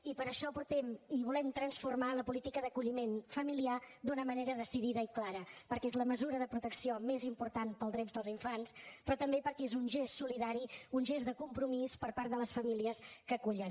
i per això portem i volem transformar la política d’acolliment familiar d’una manera decidida i clara perquè és la mesura de protecció més important per als drets dels infants però també perquè és un gest solidari un gest de compromís per part de les famílies que acullen